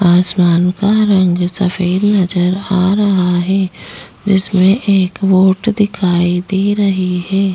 आसमान का रंग सफ़ेद नजर आ रहा है जिसमें एक बोट दिखाई दे रही है।